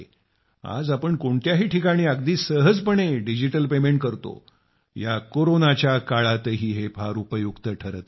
आज आपण कोणत्याही ठिकाणी अगदी सहजपणे डिजिटल पेमेंट करतो या कोरोनाच्या काळातही हे फार उपयुक्त ठरत आहे